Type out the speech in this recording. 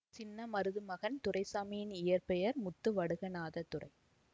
சின்ன மருது மகன் துரைச்சாமியின் இயற்பெயர் முத்து வடுக நாத துரை